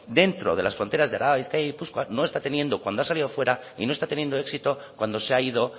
dentro de las fronteras de araba bizkaia y gipuzkoa no está teniendo cuando ha salido fuera y no está teniendo éxito cuando se ha ido